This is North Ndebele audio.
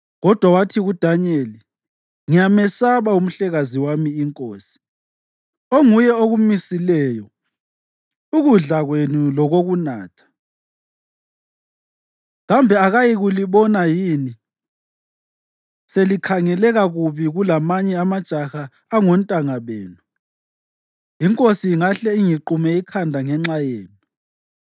kodwa wathi kuDanyeli, “Ngiyamesaba umhlekazi wami inkosi, onguye okumisileyo ukudla kwenu lokokunatha. Kambe akayikulibona yini selikhangeleka kubi kulamanye amajaha angontanga benu? Inkosi ingahle ingiqume ikhanda ngenxa yenu.”